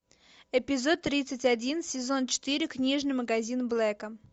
эпизод тридцать один сезон четыре книжный магазин блэка